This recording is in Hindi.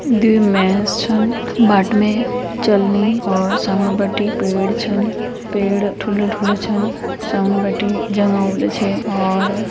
दुई मेंस छन बाट में चलनी और समणी बटी पेड़ छन पेड़ ठुलू ठुलू छन समणी बटि जंगल वे छे और --